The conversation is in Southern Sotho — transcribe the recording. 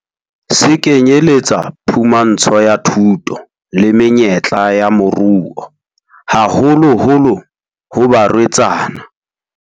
Se kenyeletsa phumantsho ya thuto le menyetla ya moruo, haholoholo ho barwetsana.